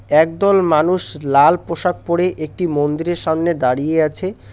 একদল মানুষ লাল পোশাক পরে একটি মন্দিরের সামনে দাঁড়িয়ে আছে।